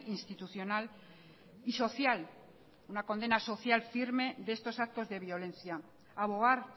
institucional y social una condena social firme de estos actos de violencia abogar